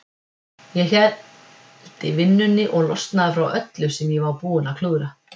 Ég héldi vinnunni og losnaði frá öllu sem ég var búinn að klúðra.